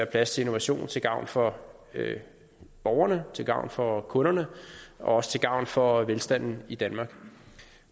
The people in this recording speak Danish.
plads til innovation til gavn for borgerne til gavn for kunderne og også til gavn for velstanden i danmark